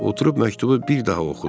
Oturub məktubu bir daha oxudu.